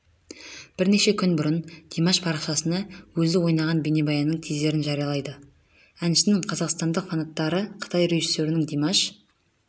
бірнеше күн бұрын димаш парақшасында өзі ойнаған бейнебаянның тизерін жариялады әншінің қазақстандық фанаттары қытай режиссерінің димаш